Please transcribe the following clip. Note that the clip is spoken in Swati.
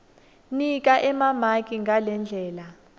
nika emamaki ngalendlela